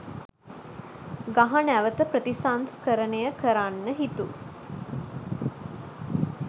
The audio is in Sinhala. ගහ නැවත ප්‍රතිසංස්කරණය කරන්න හිතු